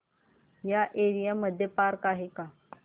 या एरिया मध्ये पार्क आहे का